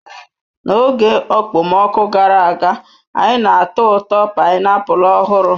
N'oge okpomọkụ gara aga, anyị na-atọ ụtọ painiapulu ọhụrụ.